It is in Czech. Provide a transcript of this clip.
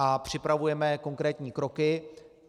A připravujeme konkrétní kroky.